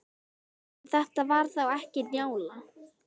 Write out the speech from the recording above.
En þetta var þá ekki Njála.